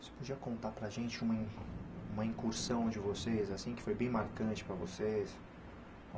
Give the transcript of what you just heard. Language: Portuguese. Você podia contar para gente uma in uma incursão de vocês, assim, que foi bem marcante para vocês?